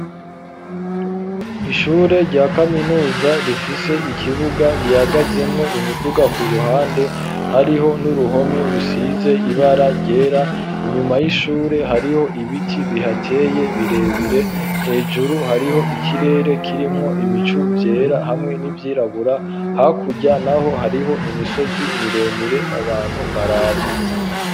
Ishure rya kaminuza rifise ikibuga gihagazemwo imiduga ku ruhande hariho n'uruhome rusize ibara ryera inyuma y'ishure hariho ibiti bihateye birebire hejuru hariho ikirere kirimwo ibicu vyera hamwe n'ivyirabura hake kurya, naho hariho imisozi miremire abantu baraba.